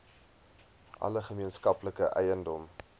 alle gemeenskaplike eiendom